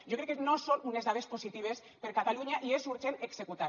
jo crec que no són unes dades positives per a catalunya i és urgent executar